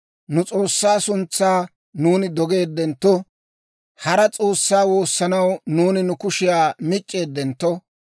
Nu S'oossaa suntsaa nuuni dogeeddentto, hara s'oossaa woossanaw nuuni nu kushiyaa mic'c'eeddentto,